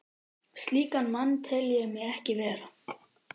Slíkan mann tel ég mig ekki vera.